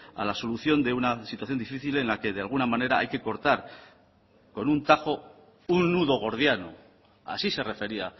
a la solución de una situación difícil en la que de alguna manera hay que cortar con un tajo un nudo gordiano así se refería